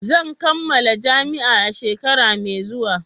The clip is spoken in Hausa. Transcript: Zan kammala jami'a a shekara mai zuwa